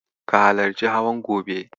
Ka halarci hawan gobe.